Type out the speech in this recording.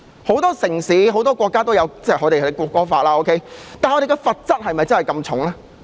很多城市和國家都有國歌法，但他們的罰則有這麼重嗎？